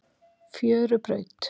Fjörubraut